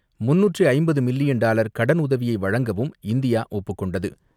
350 million dollar கடனுதவியை வழங்கவும் India ஒப்புக் கொண்டது.